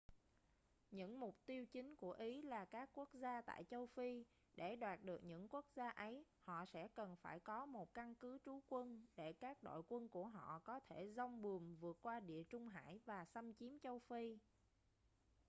những mục tiêu chính của ý là các quốc gia tại châu phi để đoạt được những quốc gia ấy họ sẽ cần phải có một căn cứ trú quân để các đội quân của họ có thể giong buồm vượt qua địa trung hải và xâm chiếm châu phi